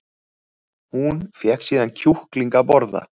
Hún fékk síðan kjúkling að borða